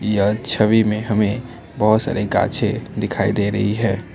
यह छवि में हमें बहुत सारे गांछे दिखाई दे रही है।